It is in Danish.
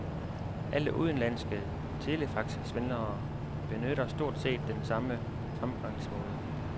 Alle udenlandske telefaxsvindlere benytter stort set den samme fremgangsmåde.